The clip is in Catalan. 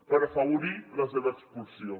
per afavorir la seva expulsió